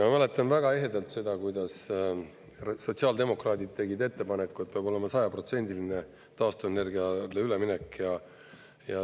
Ma mäletan väga ehedalt seda, kuidas sotsiaaldemokraadid tegid ettepaneku, et peab olema 100%-line taastuvenergiale üleminek.